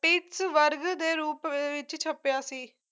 pittsburgh ਦੇ ਰੂਪ ਅਹ ਵਿੱਚ ਛਪਿਆ ਸੀ